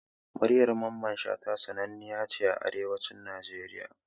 Muryar mamman Shata sananniya ce a Arewacin Nigeria